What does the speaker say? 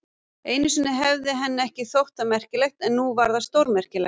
Einu sinni hefði henni ekki þótt það merkilegt, en nú var það stórmerkilegt.